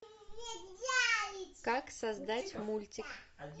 как создать мультик